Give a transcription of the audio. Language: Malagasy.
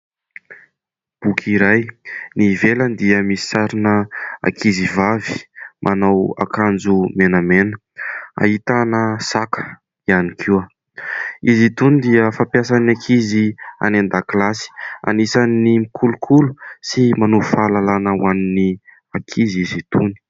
Boky iray ny ivelany dia misy sarina ankizy vavy manao akanjo menamena ahitana saka ihany koa izy itony dia fampiasan'ny ankizy any andakilasy anisan'ny mikolokolo sy manohy fahalalàna ho an'ny ankizy izy itony